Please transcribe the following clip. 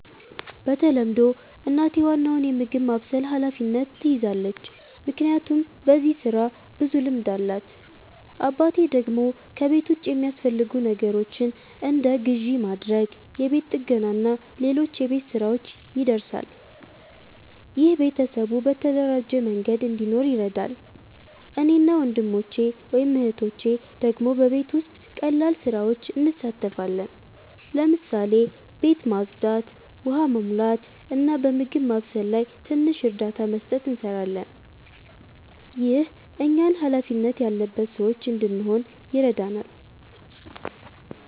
በተለምዶ እናቴ ዋናውን የምግብ ማብሰል ኃላፊነት ትይዛለች፣ ምክንያቱም በዚህ ስራ ብዙ ልምድ አላት። አባቴ ደግሞ ከቤት ውጭ የሚያስፈልጉ ነገሮችን እንደ ግዢ ማድረግ፣ የቤት ጥገና እና ሌሎች የቤት ሥራዎች ይደርሳል። ይህ ቤተሰቡ በተደራጀ መንገድ እንዲኖር ይረዳል። እኔ እና ወንድሞቼ/እህቶቼ ደግሞ በቤት ውስጥ ቀላል ስራዎች እንሳተፋለን። ለምሳሌ ቤት ማጽዳት፣ ውሃ መሙላት፣ እና በምግብ ማብሰል ላይ ትንሽ እርዳታ መስጠት እንሰራለን። ይህ እኛን ሃላፊነት ያለበት ሰዎች እንድንሆን ይረዳናል።